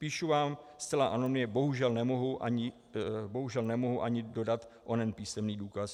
Píšu vám zcela anonymně, bohužel nemohu ani dodat onen písemný důkaz.